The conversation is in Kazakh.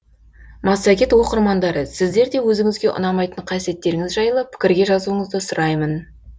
массагет оқырмандары сіздер де өзіңізге ұнамайтын қасиеттеріңіз жайлы пікірге жазуыңызды сұраймын